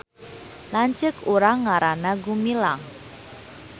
Lanceuk urang ngaranna Gumilang